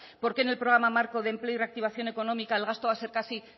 por qué en el programa marco de empleo y reactivación económica el gasto va a ser casi